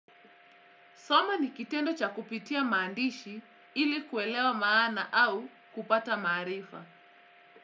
Soma ni kitendo cha kupitia maandishi ili kuelewa maana au kupata maarifa.